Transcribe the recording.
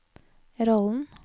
rollen